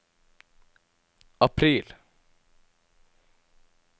april